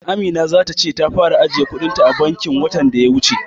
Amina za ta ce ta fara ajiye kuɗin ta a bankin watan daya wuce.